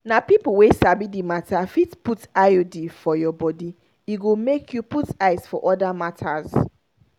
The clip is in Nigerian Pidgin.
na people wey sabi the matter fit put iud for your body e go make you put eyes for other matters.